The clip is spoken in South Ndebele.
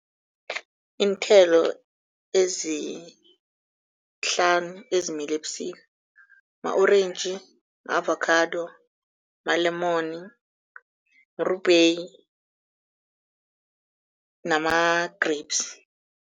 Iinthelo ezihlanu ezimila ebusika ma-orentji, ma-avakhado, malemoni, mrubheyi nama-grapes.